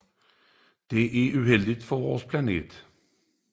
Det er uheldigt for vores planet